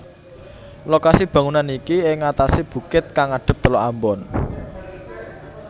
Lokasi bangunan niki ing atase bukit kang ngadep Teluk Ambon